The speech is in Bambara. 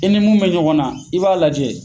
I ni mun bɛ ɲɔgɔn na i b'a lajɛ